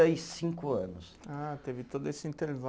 e cinco anos. Ah, teve todo esse